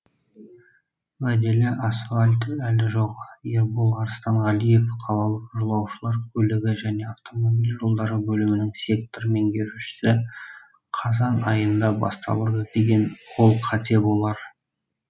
уәделі асфальт әлі жоқ ербол арыстанғалиев қалалық жолаушылар көлігі және автомобиль жолдары бөлімінің сектор меңгерушісі қазан айында басталады деген ол қате болар